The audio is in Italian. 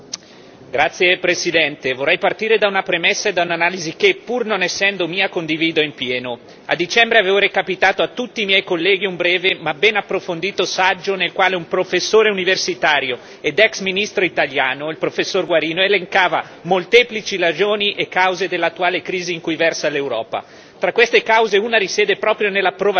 Signor Presidente, onorevoli colleghi, vorrei partire da una premessa e da un'analisi che, pur non essendo mia, condivido appieno. A dicembre avevo recapitato a tutti i miei colleghi un breve ma ben approfondito saggio nel quale un professore universitario ed ex ministro italiano, il professor Guarino, elencava molteplici ragioni e cause dell'attuale crisi in cui versa l'Europa.